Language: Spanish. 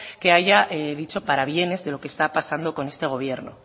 que haya dicho para bienes de lo que está pasando con este gobierno